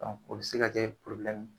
o be se ka kɛ ye.